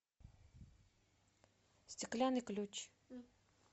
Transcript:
стеклянный ключ